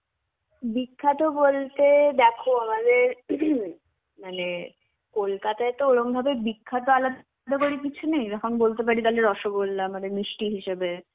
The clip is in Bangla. বিখ্যাত বলতে দেখো আমাদের মানে কলকাতায় তো ওরম ভাবে বিখ্যাত আলাদা করে কিছু নেই. এরকম বলতে পারি তাহলে রসগোল্লা মানে মিষ্টি হিসেবে.